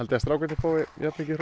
að strákarnir fái jafn mikið hrós